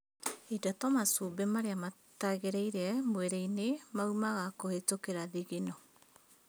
Indo ta macumbĩ marĩa matagĩrĩire mwĩrĩ-inĩ maumaga kũhĩtũkĩra thigino